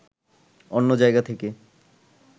অন্য জায়গা থেকে